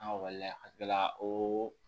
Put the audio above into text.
Ankɔli la a kila la o